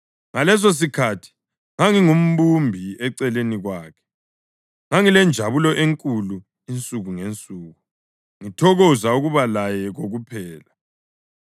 Ngalesosikhathi ngangingumbumbi eceleni kwakhe. Ngangilenjabulo enkulu insuku ngensuku, ngithokoza ukuba laye kokuphela,